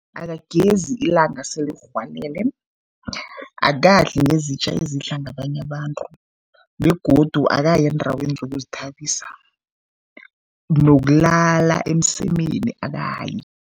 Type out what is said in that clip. Akagezi ilanga selirhwalele, akadli ngezitja ezidla ngabanye abantu begodu akayi eendaweni zokuzithabisa, nokulala emsemeni akayi.